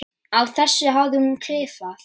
Á þessu hafði hún klifað.